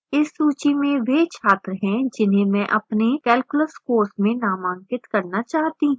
इस सूची में वह छात्र हैं जिन्हें मैं अपने calculus course में नामांकित करना चाहती हूँ